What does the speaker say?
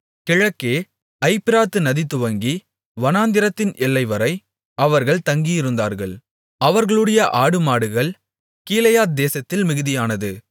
கிழக்கே ஐப்பிராத்து நதி துவங்கி வனாந்திரத்தின் எல்லைவரை அவர்கள் தங்கியிருந்தார்கள் அவர்களுடைய ஆடுமாடுகள் கீலேயாத்தேசத்தில் மிகுதியானது